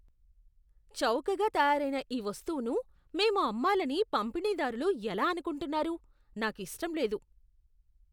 చౌకగా తయారైన ఈ వస్తువును మేము అమ్మాలని పంపిణీదారులు ఎలా అనుకుంటున్నారు? నాకు ఇష్టం లేదు.